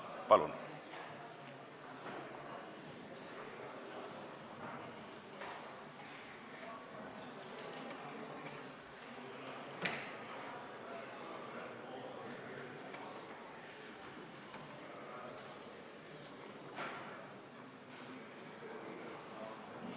Palun!